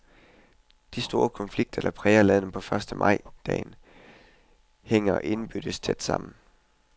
De store konflikter, som præger landet på første majdagen, hænger indbyrdes tæt sammen.